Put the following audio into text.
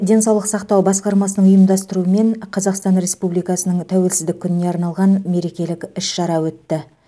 денсаулық сақтау басқармасының ұйымдастырумен қазақстан республикасының тәуелсіздік күніне арналған мерекелік іс шара өтті